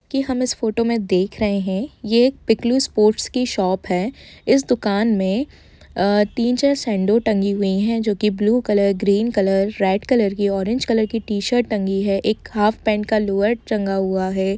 की हम इस फोटो में देख रहे है ये एक पिकलू स्पोर्ट्स की शॉप है इस दुकान में अ तीन चार सैंडो टंगी है जो की blue colour green colour red colour की ऑरेंज कलर की टी शर्ट टंगी है एक हाफ पैंट हॉर्न का लोअर टंगा हुआ है।